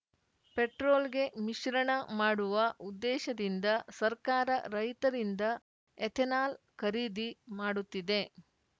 ಪೆಟ್ರೋಲ್‌ಗೆ ಮಿಶ್ರಣ ಮಾಡುವ ಉದ್ದೇಶದಿಂದ ಸರ್ಕಾರ ರೈತರಿಂದ ಎಥೆನಾಲ್‌ ಖರೀದಿ ಮಾಡುತ್ತಿದೆ